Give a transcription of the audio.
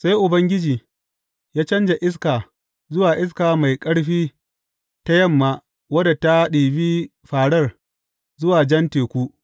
Sai Ubangiji ya canja iska zuwa iska mai ƙarfi ta yamma wadda ta ɗibi fārar zuwa Jan Teku.